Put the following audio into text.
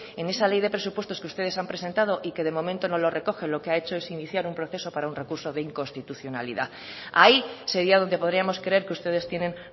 en esa ley de presupuestos que ustedes han presentado y que de momento no lo recoge lo que ha hecho es iniciar un proceso para un recurso de inconstitucionalidad ahí sería donde podríamos creer que ustedes tienen